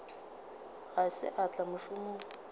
ga se a tla mošomong